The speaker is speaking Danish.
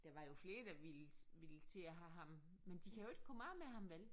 Der var jo flere der ville ville til at have ham men de kan jo ikke kom af med ham vel?